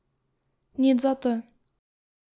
Nič zato.